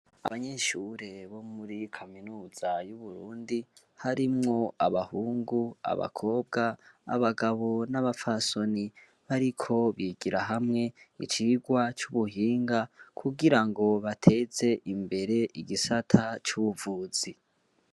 Abanyeshure bo muri kaminuza y'uburundi harimwo abahungu abakobwa abagabo n'abapfasoni bariko bigira hamwe icirwa c'ubuhinga kugira ngo bateze imbere igisata c'ubuvuzi.